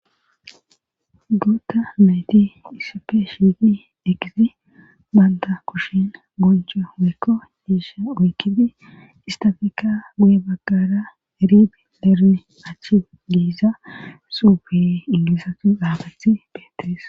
guuta nayti issippe shigi eqidi banta kushin goncho weykko giisha oykidi istafeka guye baggara ribi lerne achchi giiza suufe ingilisatu xapeti betides